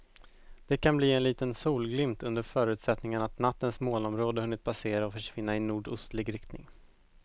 Det kan bli en liten solglimt under förutsättning att nattens molnområde hunnit passera och försvinna i nordostlig riktning.